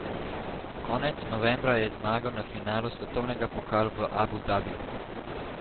Konec novembra je zmagal na finalu svetovnega pokala v Abu Dabiju.